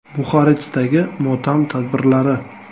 Buxarestdagi motam tadbirlari.